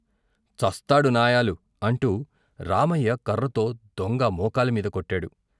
చస్తాడు నాయాలు అంటూ రామయ్య కర్రతో దొంగ మోకాలి మీద కొట్టాడు.